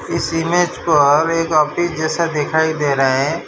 इस इमेज पर एक आफिस जैसा दिखाई दे रहा है।